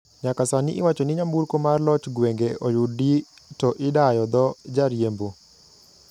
Nyaka sani iwachoni nyamburko mar lochgwenge oyudi to idayo dho jariembo.